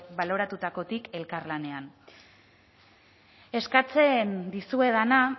baloratutakotik elkarlanean eskatzen dizuedana